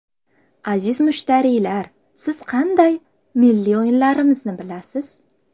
Aziz mushtariylar, siz qanday milliy o‘yinlarimizni bilasiz?